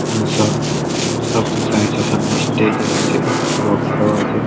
এসব সামনে স্টেজ আছে। বাক্স লাগা আছে ।